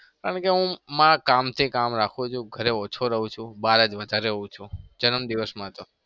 કારણ કે હું મારા કામથી કામ રાખું છું. ઘરે ઓછો રહું છું. બાર જ વધારે રહું છું. જન્મદિવસમાં તો